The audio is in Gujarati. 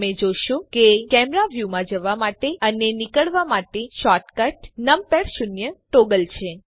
તમે જોશો કે કેમેરા વ્યુમાં જવા માટે અને નીકળવા માટે શોર્ટકટ નમપૅડ શૂન્ય ટૉગલ છે